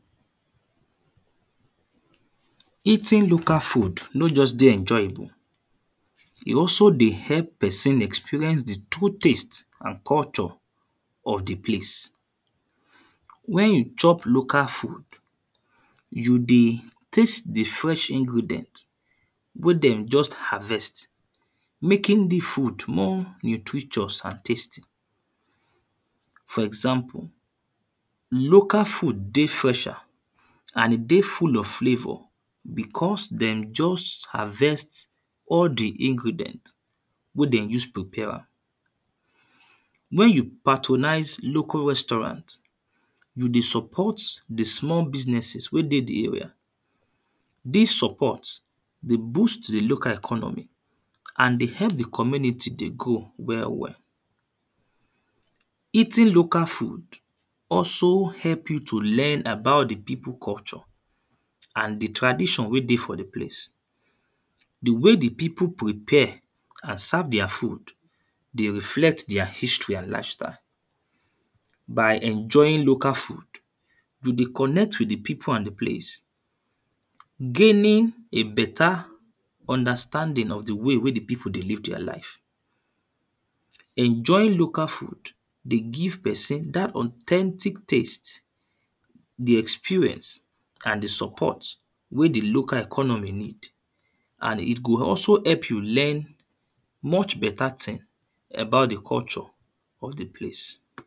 Eating local food nor just dey enjoyable, e also dey help person experience the true taste and culture of the place. When you chop local food, you dey taste the fresh ingredient wey them just harvest, making the food more nutritious and tasty. For example, local food dey fresher and e dey full of flavour, because them just harvest all the ingredient wey then use prepare am. When you patronise local restaurant, you dey support the small businesses wey dey the area. This support dey boost the local economy and dey help the community dey grow well well. Eating local food also help you to learn about the people culture and the tradition wey dey for the place. The way the people prepare and serve their food, dey reflect their history and lifestyle. By enjoying local food, you dey connect with the people and the place, gaining a better understanding of the way wey the people dey live their life. Enjoying local food, dey give person that authentic taste, the experience and the support wey the local economy need and it go also help you learn much better thing about the culture of the place.